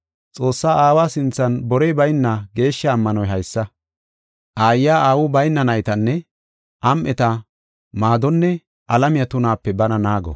Xoossaa Aawa sinthan borey bayna geeshsha ammanoy haysa: aayiya aawu bayna naytanne am7eta maadonne alamiya tunaape bana naago.